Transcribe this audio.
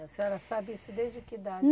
A senhora sabe isso desde que idade?